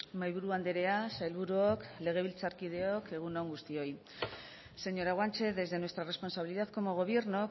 mahaiburu andrea sailburuok legebiltzarkideok egun on guztioi señora guanche desde nuestra responsabilidad como gobierno